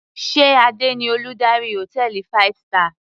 Sé Adé ni Olùdarí hòtẹ́ẹ̀lì five star.